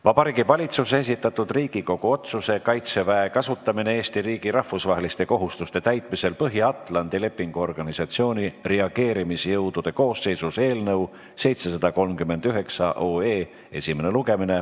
Vabariigi Valitsuse esitatud Riigikogu otsuse "Kaitseväe kasutamine Eesti riigi rahvusvaheliste kohustuste täitmisel Põhja-Atlandi Lepingu Organisatsiooni reageerimisjõudude koosseisus" eelnõu 738 esimene lugemine.